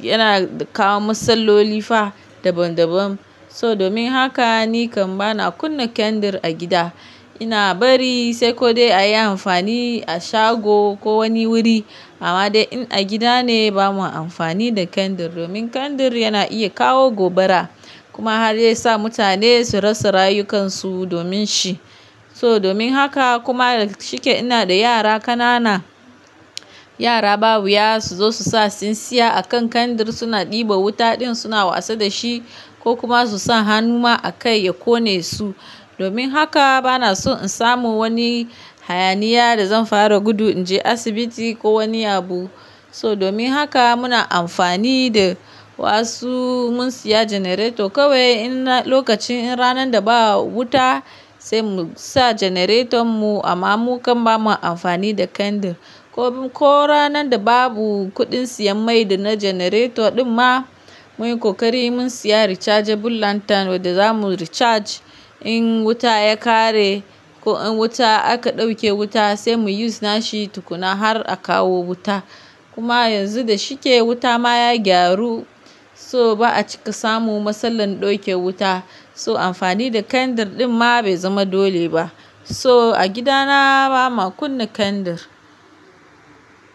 yana kawo matsaloli fa daban daban. So domin haka ni kam bana kunna kandir a gida. Ina bari sai ko dai a yi amfani a shago ko wani wuri. Amma dai in a gida ne bamu amfani da kandir domin kandir yana iya kawo gobara kuma har ya sa mutane su rasa rayukansu domin shi. So domin haka kuma da shike ina da yara ƙanana, yara ba wuya su zo su sa tsintsiya a kan kandir suna ɗiba wuta din suna wasa da shi ko kuma su sa hannu ma a kai ya ƙone su. Domin haka bana so in samu wani hayaniya da zan fara gudu in je asibiti ko wani abu. So domin haka muna amfani da wasu mun siya Generator kawai in lokacin in ranan da ba wuta sai mu sa generaton mu amma mu kam bamu amfani da kandir. Ko, ko ranan da babu kuɗin siyan mai da na generator ɗin ma muyi ƙoƙari mun siya rechargeable lantern wadda zamu recharge in wuta ya ƙare ko in wuta aka ɗauke wuta sai mu use na shi tukuna har a kawo wuta. Kuma yanzu da shike wuta ma ya gyaru so ba'a cika samu matsalar ɗauke wuta. So amfani da kandir din ma bai zama dole ba. So a gida na ba ma kunna kandir.